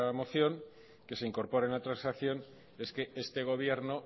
moción que se incorpora en la transacción es que este gobierno